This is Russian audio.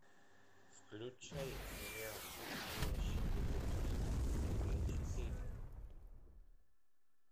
включай сериал настоящий детектив серия четыре